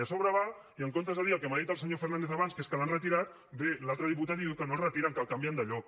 i a sobre va i en comptes de dir el que m’ha dit el senyor fernàndez abans que és que l’han retirat ve l’altre diputat i diu que no el retiren que el canvien de lloc